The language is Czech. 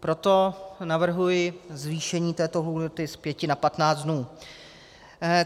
Proto navrhuji zvýšení této lhůty z pěti na patnáct dnů.